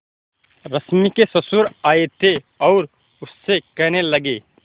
रश्मि के ससुर आए थे और उससे कहने लगे